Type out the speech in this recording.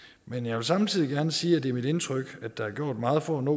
men jeg vil samtidig gerne sige at det er mit indtryk at der er gjort meget for at nå